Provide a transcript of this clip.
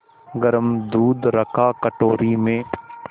गरम दूध रखा कटोरी में